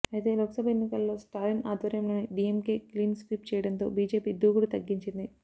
అయితే లోక్ సభ ఎన్నికల్లో స్టాలిన్ ఆధ్వర్యంలోని డీఎంకే క్లీన్ స్వీప్ చేయడంతో బీజేపీ దూకుడు తగ్గించింది